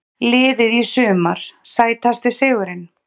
Liðið í sumar Sætasti sigurinn?